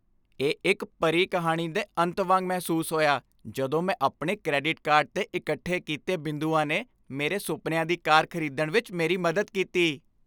ਇਹ ਇੱਕ ਪਰੀ ਕਹਾਣੀ ਦੇ ਅੰਤ ਵਾਂਗ ਮਹਿਸੂਸ ਹੋਇਆ ਜਦੋਂ ਮੈਂ ਆਪਣੇ ਕ੍ਰੈਡਿਟ ਕਾਰਡ 'ਤੇ ਇਕੱਠੇ ਕੀਤੇ ਬਿੰਦੂਆਂ ਨੇ ਮੇਰੇ ਸੁਪਨਿਆਂ ਦੀ ਕਾਰ ਖ਼ਰੀਦਣ ਵਿੱਚ ਮੇਰੀ ਮਦਦ ਕੀਤੀ।